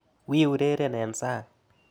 Wi ureren eng' sang'.